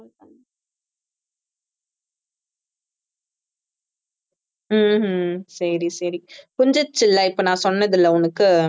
ஹம் உம் சரி சரி புரிஞ்சிருச்சில இப்ப நான் சொன்னதுல உனக்கு